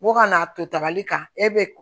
Ko ka n'a to tabali kan e be